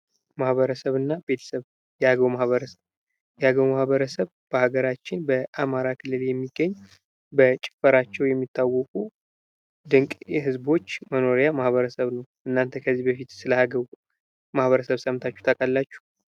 ማህበረሰብ እና ቤተሰብ የአገው ማኅበረሰብ በሀገራችን በአማራ ክልል የሚገኝ በጭፈራቸው የሚታወቁ ድንቅ የህዝቦች መኖሪያ ማህበረሰብ ነው። እናንተ ከዚህ በፊት ስለ አገው ማህበረሰብ ሰምታችሁ ታውቃላችሁ?